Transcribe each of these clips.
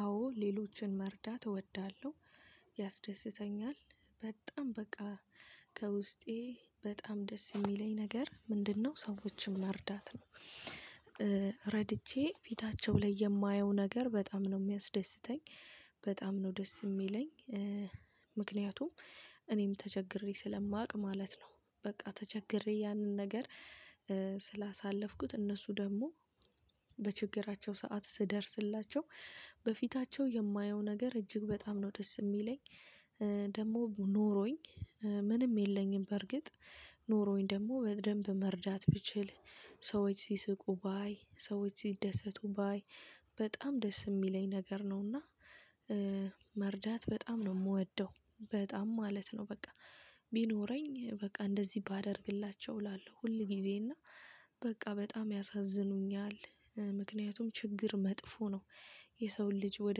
አዎ ሌሎችን መርዳት እወዳለሁ ያስደስተኛል በጣም በቃ ከውስጤ በጣም ደስ የሚለኝ ነገር ምንድነው ሰዎችን መርዳት ነው። ረድቼ ፊታቸው ላይ የማየው ነገር በጣም ነው የሚያስደስተኝ በጣም ነው ደስ የሚለኝ። ምክንያቱም እኔም ተቸግሬ ስለማውቅ ማለት ነው። በቃ ተቸግሬ ያንን ነገር ስላሳለፍኩት እነሱ ደግሞ በችግራቸው ሰዓት ስደርስላቸው በፊታቸው የማየው ነገር እጅግ በጣም ነው ደስ የሚለኝ። ደግሞ ኖሮኝ ምንም የለኝም። በርግጥ ኖሮኝ ደግሞ በደንብ መርዳት ብችል ሰዎች ሲስቁ ባይ ሰዎች ሲደሰቱ ባይ በጣም ደስ የሚለኝ ነገር ነውና። መርዳት በጣም ነው የምወደው በጣም ማለት ነው በቃ። ቢኖረኝ በቃ እንደዚህ ባደርግላቸው እላለሁ ሁል ጊዜ እና በቃ በጣም ያሳዝኑኛል ምክንያቱም ችግር መጥፎ ነው። የሰውን ልጅ ወደ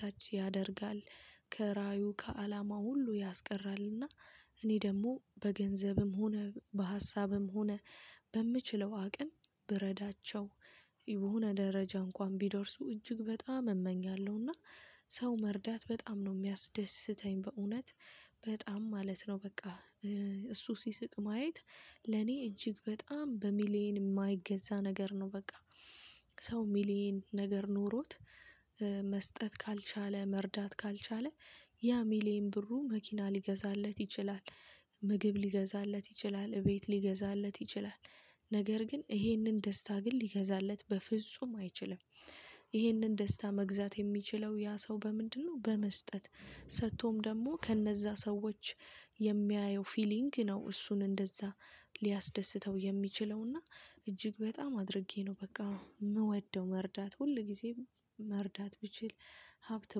ታች ያደርጋል። ከራእዩ ከአላማው ሁሉ ያስቀራልና። እኔ ደግሞ በገንዘብም ሆነ በሀሳብም ሆነ በምችለው አቅም ብረዳቸው የሆነ ደረጃ እንኳን ቢደርሱ እጅግ በጣም እመኛለሁና። ሰው መርዳት በጣም ነው የሚያስደስተኝ በእውነት በጣም ማለት ነው በቃ። እሱ ሲስቅ ማየት ለኔ እጅግ በጣም በሚሊየን የማይገዛ ነገር ነው በቃ። ሰው ሚሊየን ነገር ኖሮት መስጠት ካልቻለ መርዳት ካልቻለ ያ ሚሊየን ብሩ መኪና ሊገዛለት ይችላል። ምግብ ሊገዛለት ይችላል ቤት ሊገዛለት ይችላል። ነገር ግን ይሄንን ደስታ ግን ሊገዛለት በፍጹም አይችልም። ይህንን ደስታ መግዛት የሚችለው ያ ሰው በምንድነው በመስጠት ሰጥቶም ደግሞ ከእነዛ ሰዎች። የሚያየው ፊሊንግ ነው እሱን እንደዛ ሊያስደስተው የሚችለውና እጅግ በጣም አድርጌ ነው በቃ የምወደው። መርዳት ሁል ጊዜም መርዳት ብችል ሀብት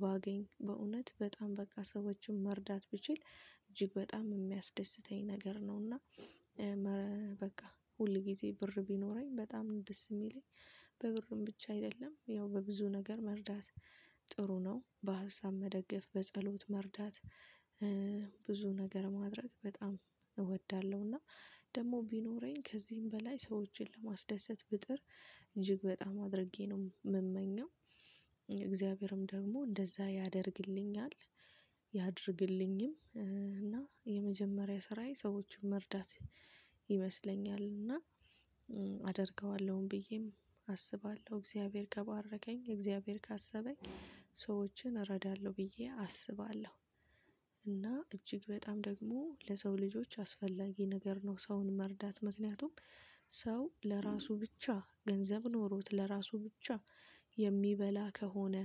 ባገኝ በእውነት በጣም በቃ ሰዎችን መርዳት ብችል እጅግ በጣም የሚያስደስተኝ ነገር ነውና። በቃ ሁል ጊዜ ብር ቢኖረኝ በጣም ደስ የሚለኝ። ብዙ ነገር መርዳት ጥሩ ነው በሀሳብ መደገፍ በጸሎት መርዳት። ብዙ ነገር ማድረግ በጣም እወዳለሁ እና ደግሞ ቢኖረኝ ከዚህም በላይ ሰዎችን ለማስደሰት ብጥር እጅግ በጣም አድርጌ ነው የምመኘው። ደግሞ እንደዛ ያደርግልኛል ያድርግልኝም እና የመጀመሪያ ስራዬ ሰዎችን መርዳት። ይመስለኛል እና አደርገዋለሁም ብዬም አስባለሁ እግዚአብሔር ከባረከኝ እግዚአብሔር ካሰበኝ ሰዎችን እረዳለሁ ብዬ አስባለሁ። እና እጅግ በጣም ደግሞ ለሰው ልጆች አስፈላጊ ነገር ነው። ሰውን መርዳት ምክንያቱም ሰው ለራሱ ብቻ ገንዘብ ኖሮት ለራሱ ብቻ የሚበላ ከሆነ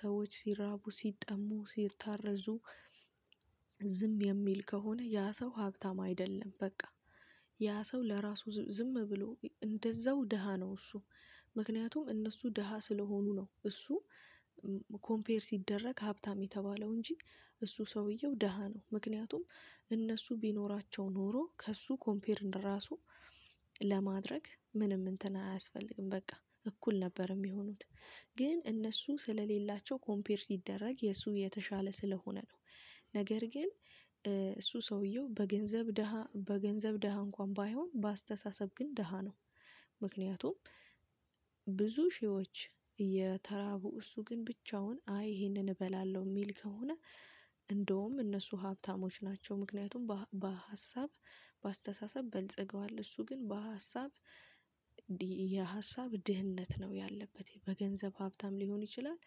ሰዎች ሲራቡ ሲጠሙ ሲታረዙ ዝም የሚል ከሆነ ያ ሰው ሀብታም አይደለም በቃ። ያ ሰው ለራሱ ዝም ብሎ እንደዛው ደሃ ነው እሱ። ምክንያቱም እነሱ ደሃ ስለሆኑ ነው እሱ። ኮምፔር ሲደረግ ሀብታም የተባለው እንጂ። እሱ ሰውየው ደሃ ነው ምክንያቱም እነሱ ቢኖራቸው ኖሮ ከእሱ ኮምፔር እንደራሱ ለማድረግ ምንም እንትን አያስፈልግም በቃ እኩል ነበር የሚሆኑት። ግን እነሱ ስለሌላቸው ኮምፔር ሲደረግ የሱ የተሻለ ስለሆነ ነው። ነገር ግን እሱ ሰውየው በገንዘብ ደሃ በገንዘብ ደሃ እንኳን ባይሆን በአስተሳሰብ ግን ደሃ ነው። ምክንያቱም ብዙ ሺዎች የተራቡ እሱ ግን ብቻውን አይ ይሄንን እበላለሁ የሚል ከሆነ እንደውም እነሱ ሀብታሞች ናቸው። ምክንያቱም በሀሳብ በአስተሳሰብ በልጽገዋል እሱ ግን በሀሳብ የሀሳብ ድህነት ነው። ያለበት በገንዘብ ሀብታም ሊሆን ይችላል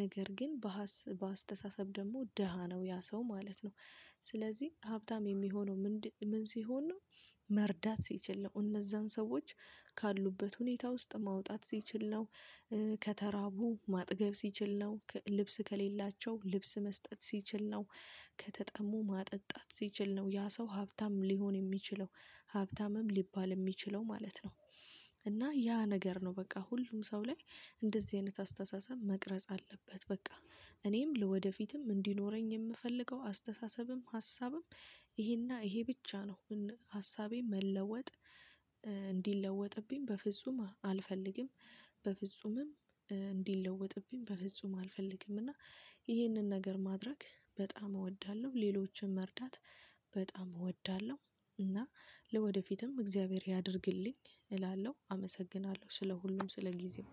ነገር ግን በአስተሳሰብ ደግሞ ደሃ ነው ያ ሰው ማለት ነው። ስለዚህ ሀብታም የሚሆነው ምን ሲሆን ነው? መርዳት ሲችል ነው እነዛን ሰዎች ካሉበት ሁኔታ ውስጥ ማውጣት ሲችል ነው። ከተራቡ ማጥገብ ሲችል ነው ልብስ ከሌላቸው ልብስ መስጠት ሲችል ነው። ከተጠሙ ማጠጣት ሲችል ነው ያ ሰው ሀብታም ሊሆን የሚችለው ሀብታምም ሊባል የሚችለው ማለት ነው። እና ያ ነገር ነው በቃ ሁሉም ሰው ላይ እንደዚህ አይነት አስተሳሰብ መቅረጽ አለበት በቃ። እኔም ለወደፊትም እንዲኖረኝ የምፈልገው አስተሳሰብም ሀሳብም ይሄና ይሄ ብቻ ነው። ሀሳቤን መለወጥ እንዲለወጥብኝ በፍጹም አልፈልግም። በፍጹምም እንዲለወጥብኝ በፍጹም አልፈልግም። እና ይህንን ነገር ማድረግ በጣም እወዳለሁ ሌሎችን መርዳት በጣም እወዳለሁ። እና ለወደፊትም እግዚአብሔር ያድርግልኝ እላለሁ አመሰግናለሁ ስለ ሁሉም ስለ ጊዜው።